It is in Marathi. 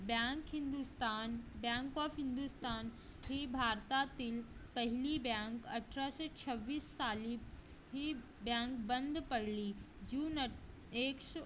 bank Hindustan bank of Hindustan हे भारतातील पहिली bank अठराशे सव्वीस सली हे bank बंद पडली जून